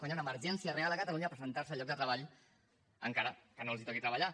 quan hi ha una emergència real a catalunya presentar se al lloc de treball encara que no els toqui treballar